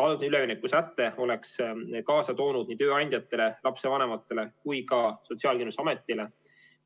Algne üleminekusäte oleks kaasa toonud nii tööandjatele, lapsevanematele kui ka Sotsiaalkindlustusametile